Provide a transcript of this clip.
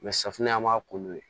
safunɛ an b'a ko n'u ye